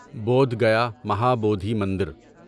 بودھ گیا مہابودھی مندر